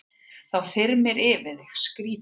Þá þyrmir yfir þig, skrýtið.